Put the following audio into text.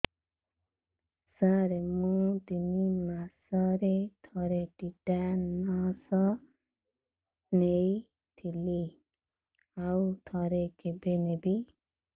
ସାର ମୁଁ ତିନି ମାସରେ ଥରେ ଟିଟାନସ ନେଇଥିଲି ଆଉ ଥରେ କେବେ ନେବି